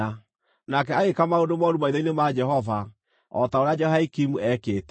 Nake agĩĩka maũndũ mooru maitho-inĩ ma Jehova, o ta ũrĩa Jehoiakimu eekĩte.